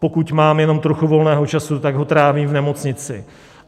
Pokud mám jenom trochu volného času, tak ho trávím v nemocnici.